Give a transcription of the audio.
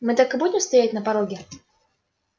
мы так и будем стоять на пороге